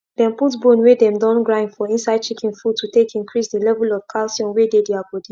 dem put bone wey dem don grind for inside chicken food to take increase the level of calcium wey dey their body